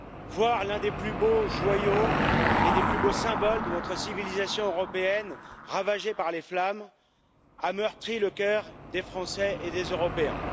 Voir l'un des plus beaux joyaux et des plus beaux symboles de notre civilisation européenne ravagé par les flammes a meurtri le cœur des Français et des Européens.